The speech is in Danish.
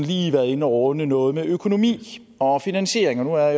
lige været inde og runde noget med økonomi og finansiering nu er